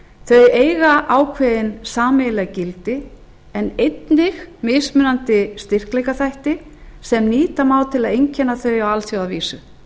þau eiga ákveðin sameiginleg gildi en einnig mismunandi styrkleikaþætti sem nýta má til að einkenna þau á alþjóðavísu